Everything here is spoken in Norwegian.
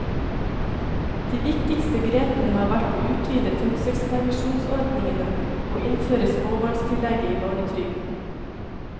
De viktigste grepene har vært å utvide fødselspermisjonsordningene og innføre småbarnstillegget i barnetrygden.